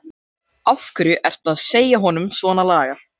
Af hverju ertu að segja honum svonalagað?